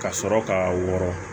Ka sɔrɔ k'a wɔrɔn